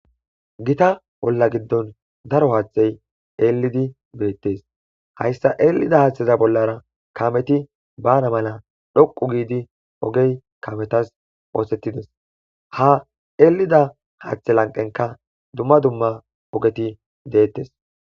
Gita bolla giddon daro haaththey eelidi beettes hayssa eelida haaththeza bollara kameti bana mala dhoqu giidi ogey kametas oosetides ha elida haaththe lanqenka dumma dumma ogeti deettes.